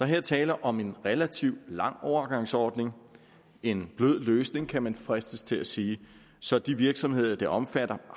her tale om en relativt lang overgangsordning en blød løsning kan man fristes til at sige så de virksomheder det omfatter